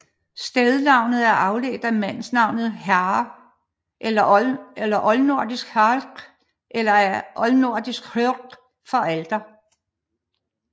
Stednavnet er afledt af mandenavn Harre eller oldnordisk Harekr eller af oldnordisk hörgr for alter